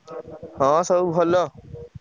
ହଁ ସବୁ ଭଲ।